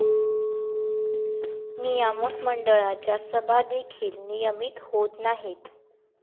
नियामक मंडळाच्या सभा देखील नियमित होत नाहीत.